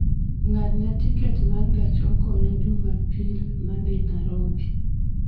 ng'adna tiket ma gach okoloma jumapil ma dhi nairobi